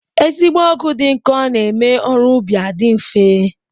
Ezigbo ọgụ dị nkọ na-eme ọrụ ubi adị nfe